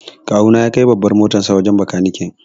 Kawu na ya kai babbar motarsa wajen bakanike.